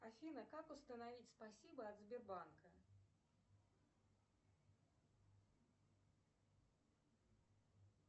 афина как установить спасибо от сбербанка